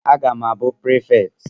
Aga m abụ prefekti